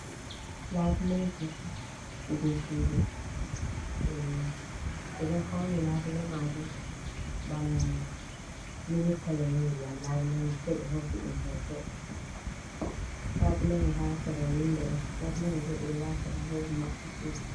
Labuleji je sudu ɓeɗo fauni labule majun bana mili kolo ngiyam labulemai se ɓe hosi ɗum hoto, labule mai ha sera windo on, labule mai bo ɓeɗo wata ɗum heɓa maɓɓa sudu.